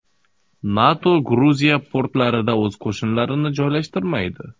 NATO Gruziya portlarida o‘z qo‘shinlarini joylashtirmaydi.